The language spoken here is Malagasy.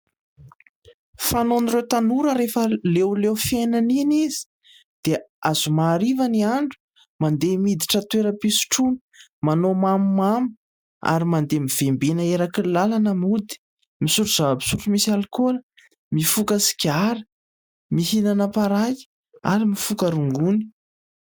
Fanaon'ireo tanora rehefa leo leo fiainana iny izy dia zoma hariva ny andro, mandeha miditra toeram-pisotroana, manao mamomamo ary mandeha mivembena eraky ny lalana mody. Misotro zava-pisotro misy alikaola, mifoka sigara, mihinana paraky ary mifoka rongony.